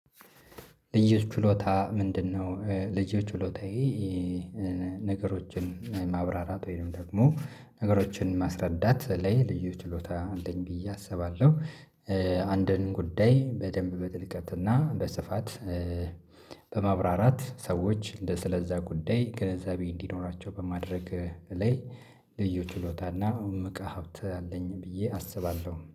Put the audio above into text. ልዩ ችሎታ ምንድነው? ልዩ ችሎታዬ ነገሮችን ማብራራት ወይም ደግሞ ነገሮችን ማስረዳት ላይ ልዩ ችሎታ አለኝ ብዬ አስባለሁ። አንድን ጉዳይ በደንብ በጥልቀትና በስፋት። በማብራራት ሰዎች ስለዛ ጉዳይ ግንዘቤ እንዲኖራቸው በማድረግ ላይ ልዩ ችሎታና እምቅ ሀብት አለኝ ብዬ አስባለሁ